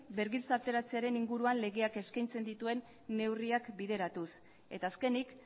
bergizarteratzearen inguruan legeak eskaintzen dituen neurriak bideratuz eta azkenik